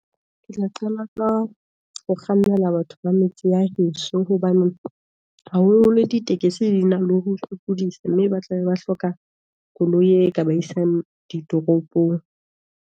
Ke tla qala ka ho kgannela batho ba metse ya heso, hobane haholo holo ditekesi di na le ho sokodisa. Mme ba tlabe ba hloka koloi e ka ba isang ditoropong.